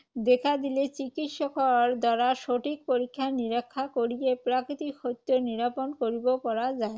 দেখা দিলে চিকিৎসকৰ দ্বাৰা সঠিক পৰীক্ষা-নিৰীক্ষা কৰিহে প্ৰাকৃিতক সত্য নিৰূপণ কৰিব পৰা যায়।